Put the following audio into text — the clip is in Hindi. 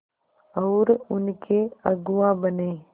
और उनके अगुआ बने